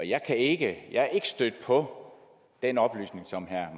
jeg er ikke stødt på den oplysning som herre